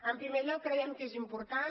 en primer lloc creiem que és important